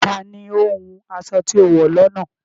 Tani o hún aṣọ̀ tí o wọ lọ́nà?